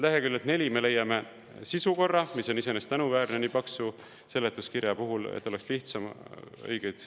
Leheküljelt 4 me leiame sisukorra, mis on iseenesest tänuväärne nii paksu seletuskirja puhul, et oleks lihtsam õigeid …